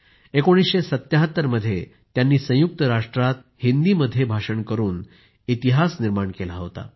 1977 मध्ये त्यांनी संयुक्त राष्ट्रामध्ये हिंदीमध्ये भाषण करून इतिहास निर्माण केला होता